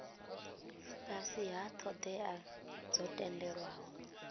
fhasi ha thodea dzo tendelwaho